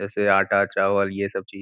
जैसे आटा चावल ये सब ची --